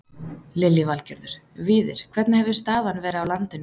Lillý Valgerður: Víðir hvernig hefur staðan verið á landinu í dag?